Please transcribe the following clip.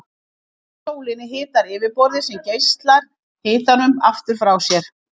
Hitinn frá sólinni hitar yfirborðið sem geislar hitanum aftur frá sér.